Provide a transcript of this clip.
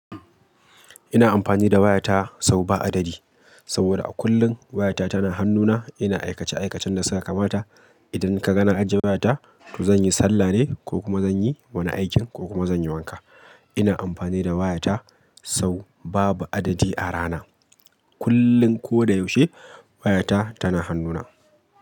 Ina amfani da wayata sau ba adadi saboda a kullum wayata tana hannuna. Ina aikace-aikacen na saka mata. Idan ka ga na ajiye wayata, to zan yi sallah ne ko kuma zan yi wani aikin ko kuma zan yi wanka. Ina amfani da wayata sau babu adadi a rana. Kullum ko da yaushe wayata tana hannuna.